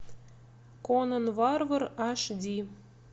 конан варвар аш ди